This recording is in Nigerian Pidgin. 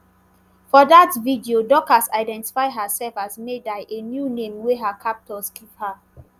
for dat video dorcas identify herself as maida a new name wey her captors give her